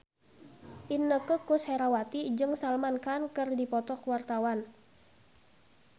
Inneke Koesherawati jeung Salman Khan keur dipoto ku wartawan